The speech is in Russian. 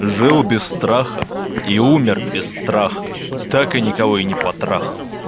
жил без страха и умер без страха так и никого и не потрахал